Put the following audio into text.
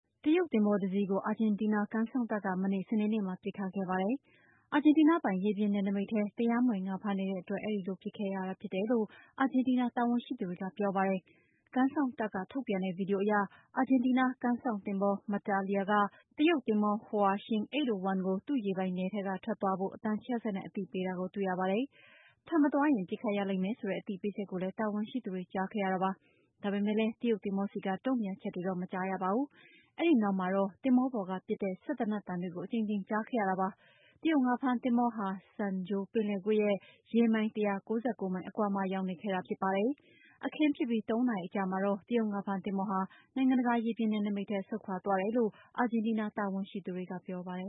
တရုတ် သင်္ဘောတစီးကို အာဂျင်တီးနား ကမ်းစောင့်တပ်က မနေ့ စနေနေ့မှာ ပစ်ခတ်ခဲ့ပါတယ်။ အာဂျင်တီးနားပိုင် ရေပြင်နယ်နိမိတ်ထဲမှာ တရားမဝင် ငါးဖမ်းနေတဲ့အတွက် အဲ့ဒီလို ပစ်ခတ်ခဲ့ရတာ ဖြစ်တယ်လို့ အာဂျင်တီးနား တာဝန်ရှိသူတွေက ပြောပါတယ်။ ကမ်းစောင့်တပ်က ထုတ်ပြန်တဲ့ ဗွီဒီယိုအရ အာဂျင်တီးနား ကမ်းစောင့်သင်္ဘော Mantilila က တရုတ်သင်္ဘော "Hua Xiang 801" ကို သူ့ရေပိုင်နက်ထဲက ထွက်ခွာသွားဖို့ အသံချဲ့စက်နဲ့ အသိပေးတာကို တွေ့ရပါတယ်။ ထွက်ခွာမသွားရင် ပစ်ခတ်ရလိမ့်မယ်ဆိုတဲ့ အသိပေးချက်ကိုလည်း တာဝန်ရှိသူတွေ ကြားခဲ့ရပါတယ်။ ဒါပေမယ့်လည်း တရုတ်သင်္ဘောဆီက တုန့်ပြန်ချက်တွေတော့ မကြားရပါဘူး။ အဲဒီနောက်မှာတော့ သင်္ဘောပေါ်ကပစ်တဲ့ စက်သေနတ်ပစ်သံတွေကို အကြိမ်ကြိမ် ကြားခဲ့ရတာပါ။တရုတ် ငါးဖမ်းသင်္ဘောဟာ San Jorge ပင်လယ်ကွေ့ရဲ့ ၁၉၉ ရေမိုင်အကွာမှာ ရောက်ရှိနေခဲ့တာဖြစ်ပါတယ်။ အခင်းဖြစ်ပြီး ၃ နာရီအကြာမှာတော့ တရုတ် ငါးဖမ်းသင်္ဘော နိုင်ငံတကာပိုင် ရေပြင်နယ်နိမိတ်ထဲ ဆုတ်ခွာသွားတယ်လို့ အာဂျင်တီးနား တာဝန်ရှိသူတွေက ပြောပါတယ